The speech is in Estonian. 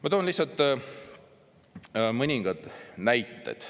Ma toon lihtsalt mõningad näited.